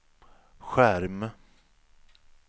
skärm